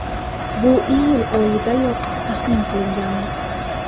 Bu iyul oyidayoq taxmin qilingandi.